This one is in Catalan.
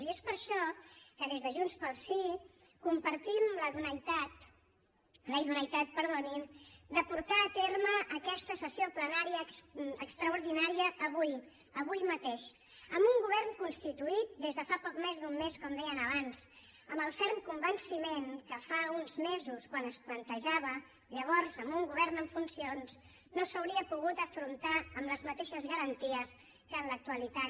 i és per això que des de junts pel sí compartim la idoneïtat de portar a terme aquesta sessió plenària extraordinària avui avui mateix amb un govern constituït des de fa poc més d’un mes com deien abans amb el ferm convenciment que fa uns mesos quan es plantejava llavors amb un govern en funcions no s’hauria pogut afrontar amb les mateixes garanties que en l’actualitat